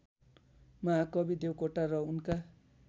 महाकवि देवकोटा र उनका